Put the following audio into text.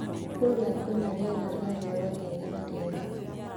Kũrĩa kũrĩ rĩera rĩa riũa rĩega na rĩega